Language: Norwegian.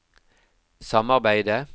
samarbeidet